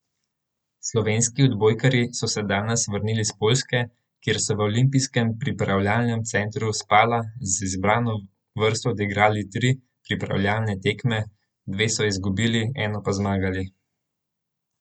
Slovenski odbojkarji so se danes vrnili s Poljske, kjer so v olimpijskem pripravljalnem centru Spala z izbrano vrsto odigrali tri pripravljalne tekme, dve so izgubili, eno pa zmagali.